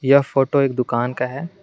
यह फोटो एक दुकान का है।